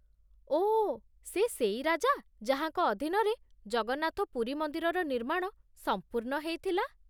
ଓଃ, ସେ ସେଇ ରାଜା, ଯାହାଙ୍କ ଅଧୀନରେ ଜଗନ୍ନାଥ ପୁରୀ ମନ୍ଦିରର ନିର୍ମାଣ ସମ୍ପୂର୍ଣ୍ଣ ହେଇଥିଲା ।